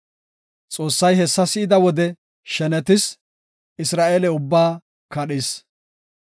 Xoossay hessa si7ida wode shenetis; Isra7eele ubbaa kadhis.